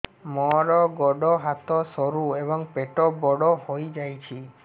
ମୋର ଗୋଡ ହାତ ସରୁ ଏବଂ ପେଟ ବଡ଼ ହୋଇଯାଇଛି